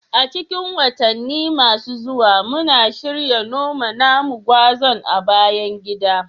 A cikin watanni masu zuwa, muna shirin noma namu gwazan a bayan gida